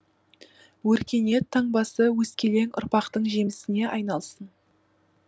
өркениет таңбасы өскелең ұрпақтың жемісіне айналсын